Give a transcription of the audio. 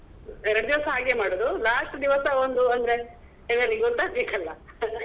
ಎರಡು ದಿವಸ ಹಾಗೆ ಮಾಡುದು last ದಿವಸ ಒಂದು ಅಂದ್ರೆ ಎಲ್ಲರಿಗೆ ಗೊತ್ತಗ್ಬೇಕಲ್ಲ .